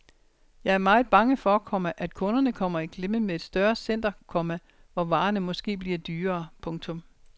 Jeg er meget bange for, komma at kunderne kommer i klemme med et større center, komma hvor varerne måske bliver dyrere. punktum